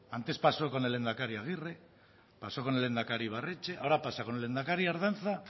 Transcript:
antes pasó con el lehendakari agirre pasó con el lehendakari ibarretxe ahora pasa con el lehendakari ardanza